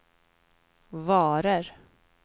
varor